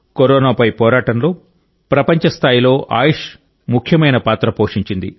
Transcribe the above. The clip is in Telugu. కరోనాపై పోరాటంలో ప్రపంచ స్థాయిలో ఆయుష్ ముఖ్యమైన పాత్ర పోషించింది